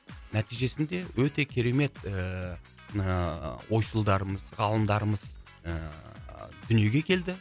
нәтижесінде өте керемет ыыы ойшылдарымыз ғалымдарымыз ыыы дүниеге келді